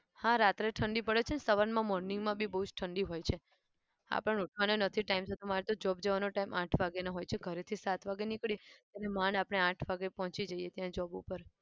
હા રાતે ઠંડી પડે છે અને સવારમાં morning માં બી બહુ જ ઠંડી હોય છે. આપણને ઉઠવાનું નથી time મારે તો job જવાનો time આઠ વાગ્યાનો હોય છે ઘરેથી સાત વાગે નીકળીશ અને માંડ આપણે આઠ વાગે પોહંચી જઈએ ત્યાં job ઉપર.